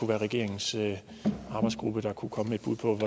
være regeringens arbejdsgruppe der kunne komme